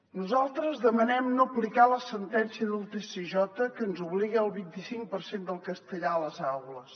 nosaltres demanem no aplicar la sentència del tsj que ens obliga al vint i cinc per cent del castellà a les aules